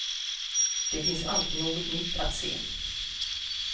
Det finns alltid något nytt att se.